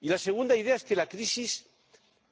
Y la segunda idea es que la crisis